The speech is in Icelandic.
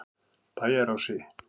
Bæjarási